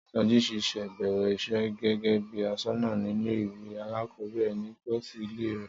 Sọjí ṣẹ̀ṣẹ̀ bẹ̀rẹ̀ iṣẹ́ gẹ́gẹ́ bí aṣọ́nà nílé ìwé alákọ̀ọ́bẹ̀rẹ̀ ní tòsí ilé rẹ̀